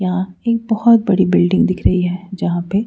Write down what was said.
यहां एक बहोत बड़ी बिल्डिंग दिख रही है जहां पे--